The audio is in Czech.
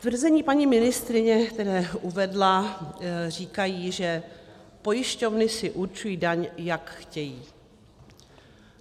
Tvrzení paní ministryně, které uvedla, říkají, že pojišťovny si určují daň, jak chtějí.